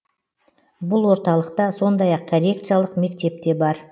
бұл орталықта сондай ақ коррекциялық мектеп те бар